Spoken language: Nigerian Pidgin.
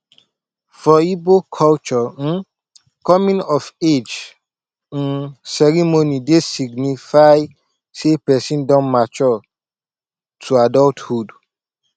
for igbo culture um coming of age um ceremony dey signify sey person don mature to adulthood